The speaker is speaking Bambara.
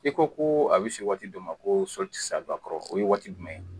I ko koo a be se waati dɔ ma koo sɔli ti se a ba kɔrɔ. O ye waati jumɛn ye?